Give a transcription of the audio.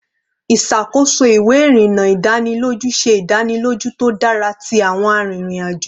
Iṣakoso iwe irinna idaniloju se idaniloju to dara ti awọn arinrin-ajo